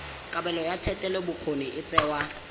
kabelo ya thetelelobokgoni e tsewa